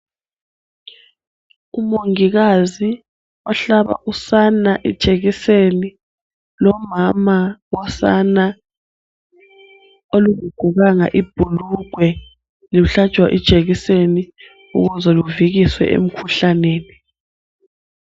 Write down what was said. Umongikazi ohlaba usana ijekiseni. Lomama wosana olungagqokanga ibhulugwe luhlatshwa ijekiseni, ukuze luvikiswe emikhuhlaneni.